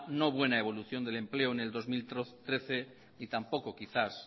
no buena evolución del empleo en el dos mil trece y tampoco quizás